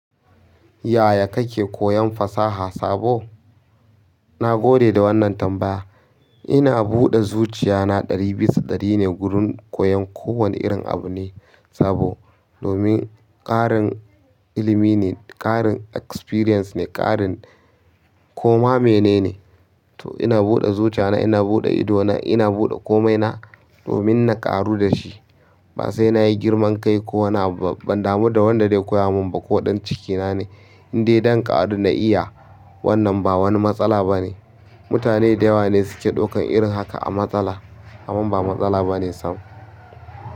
Yaya kake koyon fasaha sabo? Na gode da wannan tambaya. Ina buɗe zuciya na ɗari bisa ɗari ne wurin koyon kowane irin abu ne sabo. Domin ƙarin ilimi ne, ƙarin experience ne, ƙarin koma mene ne. To ina buɗe zuciya na, ina buɗe ido na, ina buɗe komai na domin na ƙaru da shi. Ba sai na yi girman kai ko wani abu ba ban damu da wanda zai koya mun ba ko ɗan cikina ne. Indai zan ƙaru na iya wannan ba wani matsala ba ne. Mutane da yawa ne suke ɗaukan irin haka a matsala amman ba matsala ba ne sam.